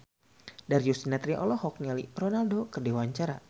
Darius Sinathrya olohok ningali Ronaldo keur diwawancara